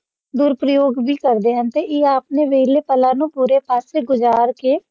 ਦੁਰਪ੍ਰਯੋਗ ਵੀ ਕਰਦੇ ਹਨ ਅਤੇ ਇਹ ਆਪਣੇ ਵੇਹਲੇ ਪਲਾਂ ਨੂੰ ਬੁਰੇ ਕੰਮ ਤੇ ਗੁਜ਼ਾਰ ਕੇ